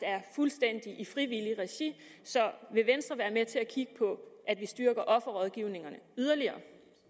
fuldstændig foregår i frivilligt regi så vil venstre være med til at kigge på at vi styrker offerrådgivningerne yderligere